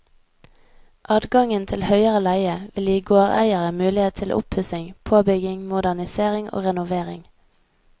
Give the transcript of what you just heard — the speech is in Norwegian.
Adgangen til høyere leie vil gi gårdeiere mulighet til oppussing, påbygging, modernisering og renovering.